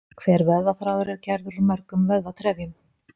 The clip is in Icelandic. Hver vöðvaþráður er gerður úr mörgum vöðvatrefjum.